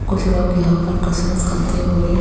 कुछ लोग यहां पर कसरच करते हुए--